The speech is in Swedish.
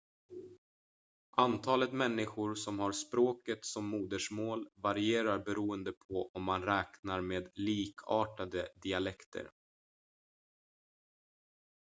antalet människor som har språket som modersmål varierar beroende på om man räknar med likartade dialekter